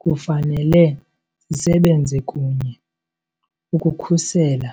Kufanele sisebenze kunye ukukhusela